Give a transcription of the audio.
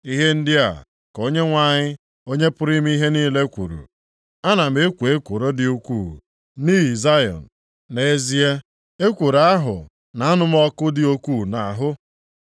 Ihe ndị a ka Onyenwe anyị, Onye pụrụ ime ihe niile kwuru: “Ana m ekwo ekworo dị ukwuu nʼihi Zayọn. Nʼezie, ekworo ahụ na-anụ m ọkụ dị ukwuu nʼahụ.”